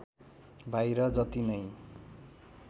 बाहिर जति नै